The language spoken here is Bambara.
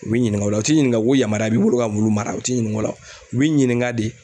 U b'i ɲininka o la u t'i ɲininka ko yamaruya b'i bolo ka wulu mara o t'i ɲininka o la u b'i ɲininka de